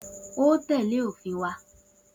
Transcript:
O óò tè̩lé òfin wa!